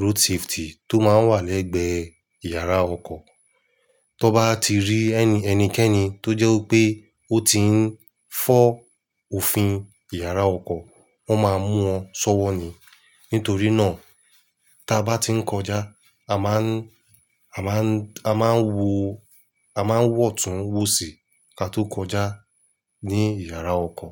road safety tó máa ń wà lẹ́gbẹ̀ẹ́ ìyàrá ọkọ̀. Tọn bá ti rí ẹni, ẹnikẹ́ni tó jẹ́ wipé ó ti ń fọ́ òfin ìyàrá ọkọ̀, wọ́n máa mú wọn sọ́wọ́ ni. Nítorí náà, táa bá ti ń kọjá, a máa ń, a máa ń, a máa ń wo, a máa ń wọ̀tún wòsì ká tó kọjá ní ìyàrá ọkọ̀